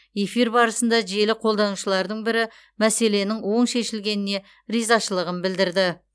эфир барысында желі қолданушылардың бірі мәселенің оң шешілгеніне ризашылығын білдірді